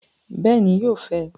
Bẹẹni, yóò fẹ